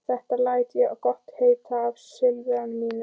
Þetta læt ég gott heita af sifjaliði mínu.